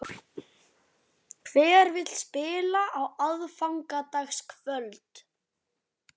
Hver vill spila á aðfangadagskvöld?